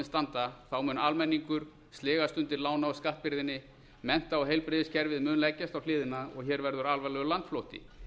standa mun almenningur sligast undir lána og skattbyrðinni mennta og heilbrigðiskerfið mun leggjast á hliðina og hér verður alvarlegur landflótti